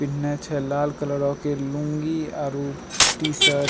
पिहना छै लाल कलर क लूंगी आरो टी-शर्ट ।